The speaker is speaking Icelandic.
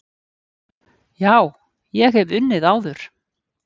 Já, ég hef unnið áður.